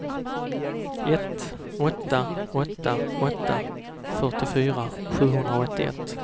ett åtta åtta åtta fyrtiofyra sjuhundraåttioett